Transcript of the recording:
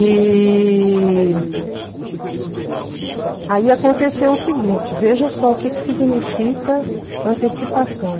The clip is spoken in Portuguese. E aí aconteceu o seguinte, veja só o que que significa antecipação.